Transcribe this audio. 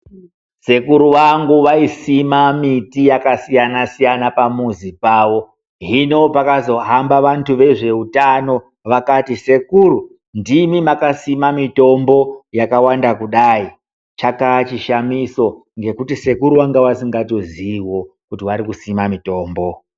Sekuru vangu vaisima miti yakasiyana siyana pamuzi pavo. Hino pakazohamba vantu vezveutano, vakati sekuru ndimi makasima mitombo yakawanda kudai. Chakaa chishamiso ngekuti sekuru vanga vasingatoziiwo kuti varikusima mitombo.